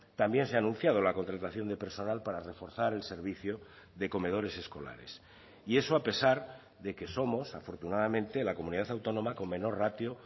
también se ha anunciado la contratación de personal para reforzar el servicio de comedores escolares y eso a pesar de que somos afortunadamente la comunidad autónoma con menor ratio